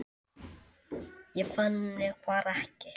Ég fann mig bara ekki.